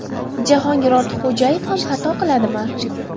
Jahongir Ortiqxo‘jayev ham xato qiladimi?